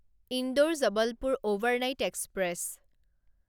Indore Jabalpur overnight express